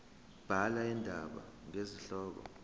bhala indaba ngesihloko